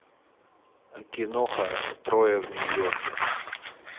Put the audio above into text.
киноха трое в нью йорке